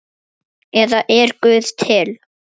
eða Er Guð til?